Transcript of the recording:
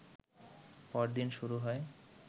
পরদিন শুরু হয়